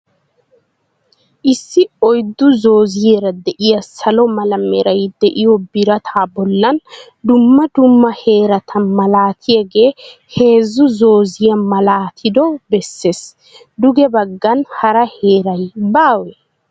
Issi oyddu zooziyaara diya salo mala meray diyo birataa bollan dumma dumma heerata malatiyage heezzu zooziya malaatido besses. Duge baggan hara heeray baawee?